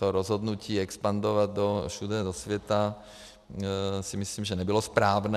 To rozhodnutí expandovat všude do světa si myslím, že nebylo správné.